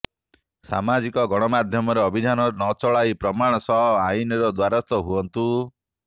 ସାମାଜିକ ଗଣମାଧ୍ୟମରେ ଅଭିଯାନ ନ ଚଲାଇ ପ୍ରମାଣ ସହ ଆଇନର ଦ୍ବାରସ୍ଥ ହୁଅନ୍ତୁ